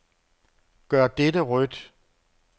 Gør dette rødt.